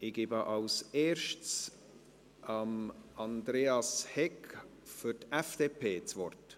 Ich gebe zuerst Andreas Hegg für die FDP das Wort.